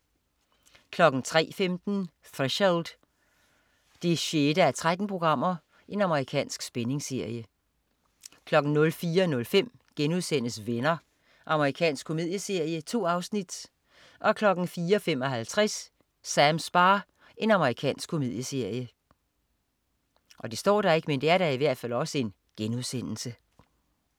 03.15 Threshold 6:13. Amerikansk spændingsserie 04.05 Venner.* Amerikansk komedieserie. 2 afsnit 04.55 Sams bar. Amerikansk komedieserie